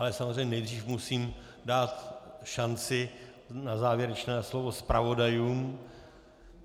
Ale samozřejmě nejdřív musím dát šanci na závěrečné slovo zpravodajům.